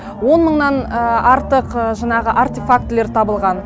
он мыңнан артық жаңағы артефактілер табылған